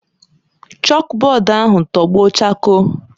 Chọkbọọdụ ahụ tọgbọ chakoo.